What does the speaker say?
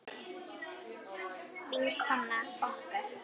Vinkona okkar.